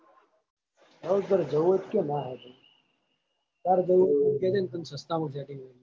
તારે જાવું હોય તો કયો ના હે ભાઈ તારે જાવું હોય તો કેજે ને તન સસ્તામાં setting કરી યાલે